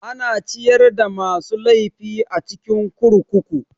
Ana ciyar da masu laifi a cikin kurkuku.